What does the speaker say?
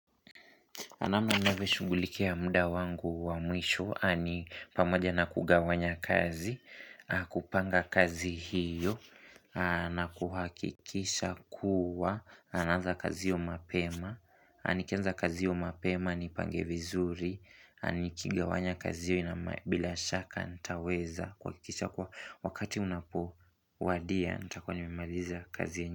Namna ninavyoshughulikia muda wangu wa mwisho ni pamoja na kugawanya kazi, kupanga kazi hiyo, na kuhakikisha kuwa, naanza kazi hiyo mapema, na nikianza kazi hiyo mapema, nipange vizuri, nikigawanya kazi hiyo bila shaka nitaweza kuhakikisha kuwa wakati unapo wadia nitakuwa nimemaliza kazi.